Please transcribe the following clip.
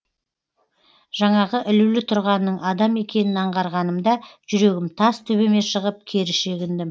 жаңағы ілулі тұрғанның адам екенін аңғарғанымда жүрегім тас төбеме шығып кері шегіндім